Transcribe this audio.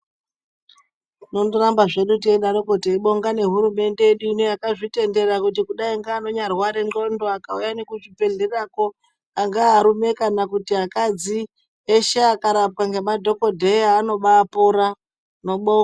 Tinongoramba teingodaro teibonga hurumende yedu yakazvitendera kuti kudai nearwara ngonxo akauya kuzvibhedhlera angave kuti vakadzi veshe vakarapwa nezvibhedhlera vanoba pora.